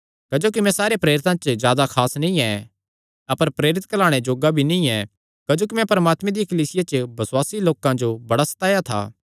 क्जोकि मैं सारे प्रेरितां च जादा खास नीं ऐ अपर प्रेरित कैहलाणे जोग्गा भी नीं ऐ क्जोकि मैं परमात्मे दिया कलीसिया च बसुआसी लोकां जो बड़ा सताया था